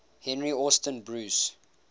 henry austin bruce